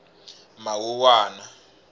mawuwana